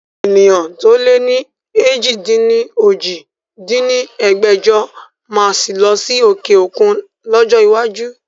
Ènìyàn to lè ni èjì-dín-ní-ojì dín ní ẹgbẹ́jọ sí máa lọ sí òkè òkun lọ́jọ́ iwájú